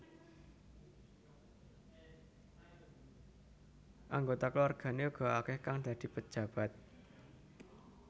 Anggota keluargane uga akeh kang dadi pejabat